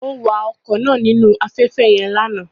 Ó wa ọkọ̀ náà nínú afẹ́fẹ́ yẹn lánàá